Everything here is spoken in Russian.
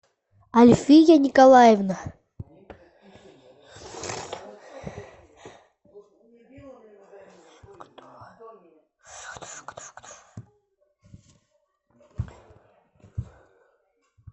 альфия николаевна